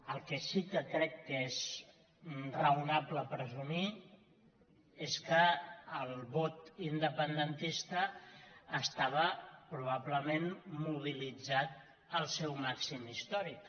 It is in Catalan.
el que sí que crec que és raonable presumir és que el vot independentista estava probablement mobilitzat en el seu màxim històric